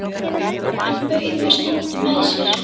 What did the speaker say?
Hann bauð mér stundum með sér.